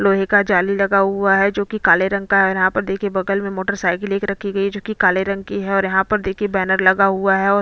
लोहे का जाली लगा हुआ है जो कि काले रंग का है और यहाँ पर देखिये बगल में मोटर साइकिल एक रखी गई है जो कि काले रंग की है और यहाँ पर देखिये बैनर लगा हुआ है और--